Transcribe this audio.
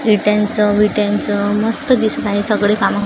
विट्यांच विट्यांच मस्त दिसत आहे सगळी कामं--